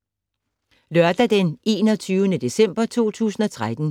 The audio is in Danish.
Lørdag d. 21. december 2013